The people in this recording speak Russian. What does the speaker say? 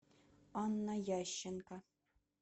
анна ященко